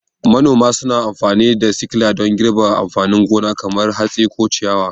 Manoma suna amfani da sikila don girbi amfanin gona kamar hatsi ko ciyawa.